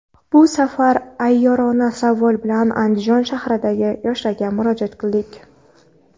Bu safar ayyorona savol bilan Andijon shahridagi yoshlarga murojaat qildik.